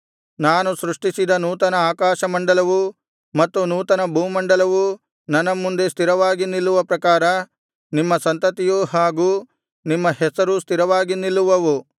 ನಾನು ಸೃಷ್ಟಿಸಿದ ನೂತನ ಆಕಾಶಮಂಡಲವೂ ಮತ್ತು ನೂತನ ಭೂಮಂಡಲವೂ ನನ್ನ ಮುಂದೆ ಸ್ಥಿರವಾಗಿ ನಿಲ್ಲುವ ಪ್ರಕಾರ ನಿಮ್ಮ ಸಂತತಿಯೂ ಹಾಗು ನಿಮ್ಮ ಹೆಸರೂ ಸ್ಥಿರವಾಗಿ ನಿಲ್ಲುವವು